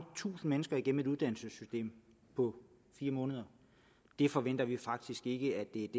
tusinde mennesker gennem et uddannelsessystem på fire måneder det forventer vi faktisk ikke